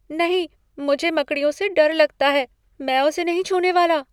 नहीं! मुझे मकड़ियों से डर लगता है। मैं उसे नहीं छूने वाला।